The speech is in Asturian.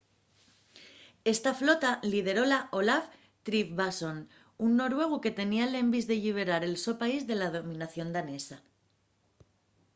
esta flota lideróla olaf trygvasson un noruegu que tenía l'envís de lliberar el so país de la dominación danesa